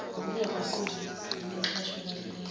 ngokungaguquki nexhaswe ukwahlulelwa